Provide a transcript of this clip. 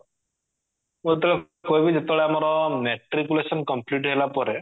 ମୁଁ ଯେତେବେଳେ ଯେତେବେଳେ ଆମର matriculation complete ହେଲା ପରେ